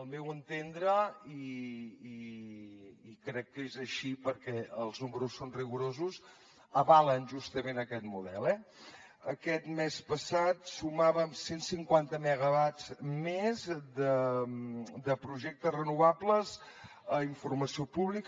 al meu entendre i crec que és així perquè els números són rigorosos avalen justament aquest model eh aquest mes passat sumàvem cent cinquanta megawatts més de projectes renovables a informació pública